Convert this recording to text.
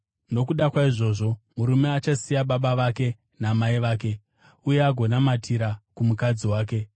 Nokuda kwaizvozvi, murume achasiya baba vake namai vake uye agonamatira kumukadzi wake,